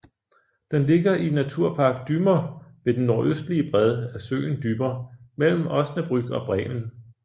Den ligger i Naturpark Dümmer ved den nordøstlige bred af søen Dümmer mellem Osnabrück og Bremen